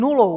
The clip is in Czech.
Nulou!